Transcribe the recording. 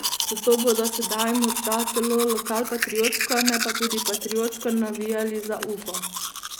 Zato bodo sedaj morda celo lokalpatriotsko, ne pa tudi patriotsko, navijali za Ufo.